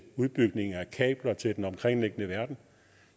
kabler til den omkringliggende verden